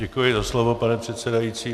Děkuji za slovo, pane předsedající.